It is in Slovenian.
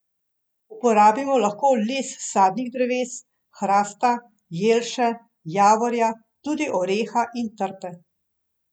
Uporabimo lahko les sadnih dreves, hrasta, jelše, javorja, tudi oreha in trte.